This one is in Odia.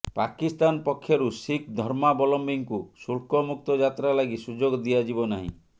ପାକିସ୍ତାନ ପକ୍ଷରୁ ଶିଖ୍ ଧର୍ମାବଲମ୍ବୀଙ୍କୁ ଶୁଳ୍କ ମୁକ୍ତ ଯାତ୍ରା ଲାଗି ସୁଯୋଗ ଦିଆଯିବ ନାହିଁ